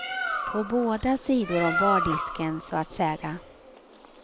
På båda sidor om bardisken, så att säga.